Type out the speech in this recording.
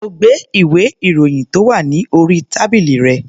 Mo gbé ìwé-ìròyìn tó wà ní orí tábìlì rẹ̀.